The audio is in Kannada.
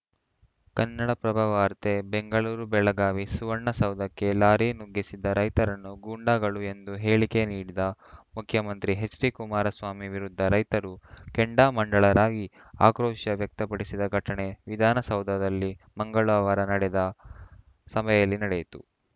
ಕನ್ನಡಪ್ರಭ ವಾರ್ತೆ ಬೆಂಗಳೂರು ಬೆಳಗಾವಿ ಸುವರ್ಣಸೌಧಕ್ಕೆ ಲಾರಿ ನುಗ್ಗಿಸಿದ ರೈತರನ್ನು ಗೂಂಡಾಗಳು ಎಂದು ಹೇಳಿಕೆ ನೀಡಿದ ಮುಖ್ಯಮಂತ್ರಿ ಎಚ್‌ಡಿಕುಮಾರಸ್ವಾಮಿ ವಿರುದ್ಧ ರೈತರು ಕೆಂಡಾಮಂಡಲರಾಗಿ ಆಕ್ರೋಶ ವ್ಯಕ್ತಪಡಿಸಿದ ಘಟನೆ ವಿಧಾನಸೌಧದಲ್ಲಿ ಮಂಗಳವಾರ ನಡೆದ ಸಭೆಯಲ್ಲಿ ನಡೆಯಿತು